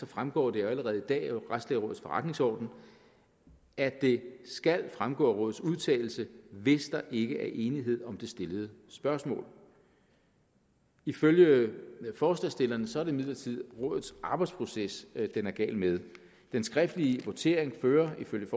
fremgår det allerede i dag af retslægerådets forretningsorden at det skal fremgå af rådets udtalelse hvis der ikke er enighed om det stillede spørgsmål ifølge forslagsstillerne er det imidlertid rådets arbejdsproces den er gal med den skriftlige votering fører ifølge